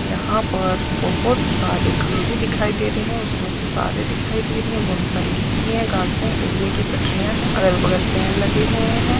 यहाँ पर बहुत सारे खंभे दिखाई दे रहे है उसमे से सितारे दिखाई दे रहे है बहुत सारे गिट्टी है घाँस है रेलवे के पटरीया है अगल-बगल पेड़ लगे हुए है।